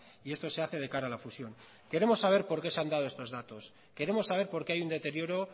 y esto se hace de cara a la fusión queremos saber por qué se han dado estos datos queremos saber por qué hay un deterioro